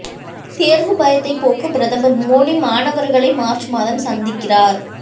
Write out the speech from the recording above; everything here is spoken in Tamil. தேர்வு பயத்தைப் போக்க பிரதமர் மோடி மாணவர்களை மார்ச் மாதம் சந்திக்கிறார்